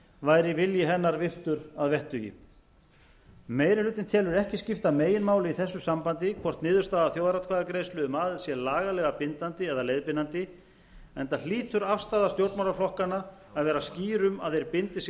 væri vilji hennar virtur að vettugi meiri hlutinn telur ekki skipta meginmáli í þessu sambandi hvort niðurstaða þjóðaratkvæðagreiðslu meiri hlutinn telur ekki skipta meginmáli í þessu sambandi hvort niðurstaða þjóðaratkvæðagreiðslu um aðild sé lagalega bindandi eða leiðbeinandi enda hlýtur afstaða stjórnmálaflokkanna að vera skýr um að þeir bindi sig